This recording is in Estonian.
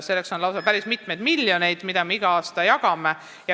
Selleks on päris mitu miljonit, mida me iga aasta jagame.